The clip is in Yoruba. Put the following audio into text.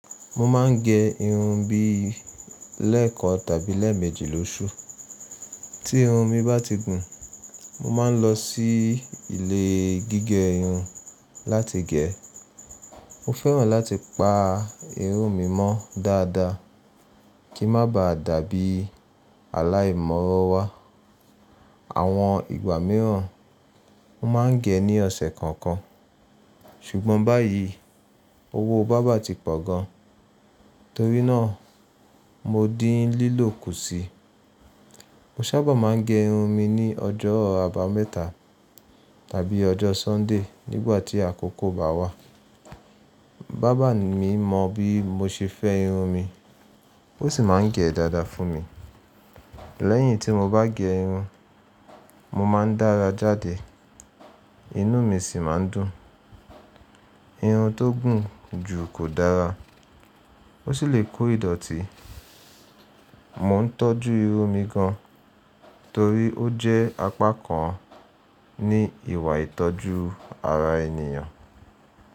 Mo máa ń gẹ irun bí lẹ́ẹ̀kan tàbí lẹ́ẹ̀mẹjì lóṣù. Tí irun mi bá ti gùn, mo máa ń lọ sí ilé gígẹ irun láti gẹ̀ ẹ́. Mo fẹ́ràn láti pa irun mi mọ́ dáadáa kíń má ba à dàbí aláì mọ́wo wá. Àwọn ìgbà míràn, mo máa ń gẹ ní ọ̀sẹ̀ kọ̀ọ̀kan. Ṣùgbọ́n báyìí owó barber ti pọ̀ gan, torí náà mo dín lílò kù sí. Mo sábà máa ń gẹ irun mi ní ọjọ́ àbámẹ́ta tàbí ọjọ́ Sọ́ńdè nígbà tí àkókò bá wà. Barber mi mọ bí mo ṣe fẹ́ irun mi, ó sì máa ń gẹ̀ ẹ́ dáadáa fún mi. Lẹ́yìn tí mo bá gẹ irun, mo máa ń dára jáde, inú mi sì máa ń dùn. Irun tó gùn jù kò dára, ó sì lè kó ìdọ̀tí. Mò ń tọ́jú irun mi gan, torí ó jẹ́ apá kan ní ìwà ìtọ́jú ara ènìyàn.